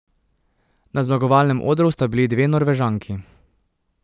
Na zmagovalnem odru sta bili dve Norvežanki.